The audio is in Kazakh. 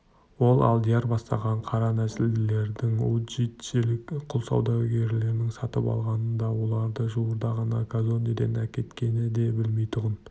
ол алдияр бастаған қара нәсілділерді уджиджилік құл саудагерінің сатып алғанын да оларды жуырда ғана казондеден әкеткенін де білмейтұғын